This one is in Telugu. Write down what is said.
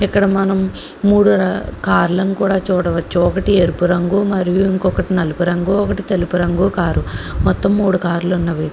ఇక్కడ మనం మూడు కార్లను కూడా చూడవచ్చు ఒకటి ఎరుపు రంగు మరియు ఇంకొకటి నలుపు రంగు ఒకటి తెలుపు రంగు కారు మొత్తం మూడు కార్లు ఉన్నవి.